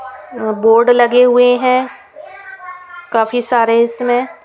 Board लगे हुए हैं काफी सारे इसमें.